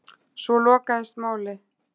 Svo lokaðist málið.